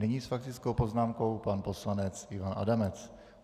Nyní s faktickou poznámkou pan poslanec Ivan Adamec.